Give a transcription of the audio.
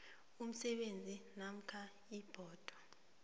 umsebenzi namkha ibhodo